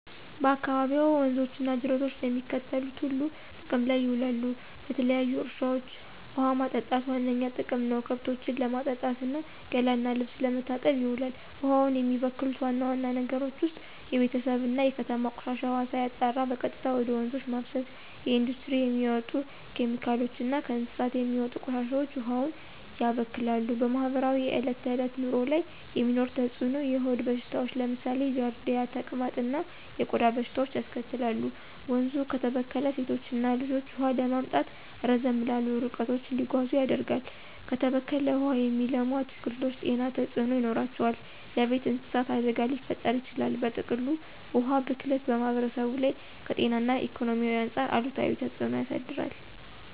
በአካባቢዎ ወንዞች እና ጅረቶች ለሚከተሉት ሁሉ ጥቅም ላይ ይውላሉ -ለተለያዩ እርሻዎች ውሃ ማጠጣት ዋነኛ ጥቅም ነው፣ ከብቶችን ለማጠጣት እና ገላ እና ልብስ ለመታጠብ ይውላል። ውሃውን የሚበክሉ ዋና ዋና ነገሮች ውስጥ የቤተሰብ እና የከተማ ቆሻሻ ውሃ ሳይጣራ በቀጥታ ወደ ወንዞች መፍሰስ፣ የኢንዱስትሪ የሚወጡ ኬሚካሎች እና ከእንስሳት የሚወጡ ቆሻሻዎች ውሃውን ያበክላሉ። በማህበረሰቡ የዕለት ተዕለት ኑሮ ላይ የሚኖረው ተጽዕኖ -የሆድ በሽታዎች (ለምሳሌ ጃርዲያ፣ ተቅማጥ) እና የቆዳ በሽታዎች ያስከትላል፣ ወንዙ ከተበከለ ሴቶችና ልጆች ውሃ ለማምጣት ረዘም ላሉ ርቀቶች እንዲጓዙ ያደርጋል፣ በተበከለ ውሃ የሚለሙ አትክልቶች ጤና ተጽዕኖ ይኖራቸዋል፣ ለቤት እንስሳት አደጋ ሊፈጥር ይችላል። በጥቅሉ፣ የውሃ ብክለት በማህበረሰቡ ላይ ከጤና እና ኢኮኖሚ አንጻር አሉታዊ ተጽዕኖ ያሳድራል።